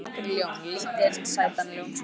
Mig langar í ljón, lítinn sætan ljónsunga.